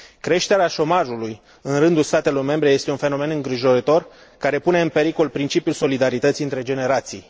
Creșterea șomajului în rândul statelor membre este un fenomen îngrijorător, care pune în pericol principiul solidarității între generații.